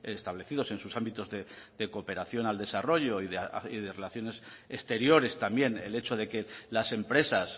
establecidos en sus ámbitos de cooperación al desarrollo y de relaciones exteriores también el hecho de que las empresas